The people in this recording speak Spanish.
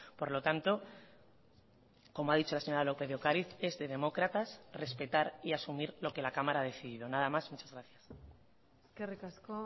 por lo tanto como ha dicho la señora lópez de ocariz es de demócratas respetar y asumir lo que la cámara ha decidido nada más muchas gracias eskerrik asko